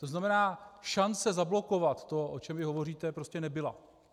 To znamená, šance zablokovat to, o čem vy hovoříte, prostě nebyla.